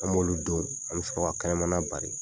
An m'olu don an me sɔrɔ ka kɛnɛmana bari.